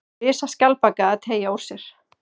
Risaskjaldbaka að teygja úr sér.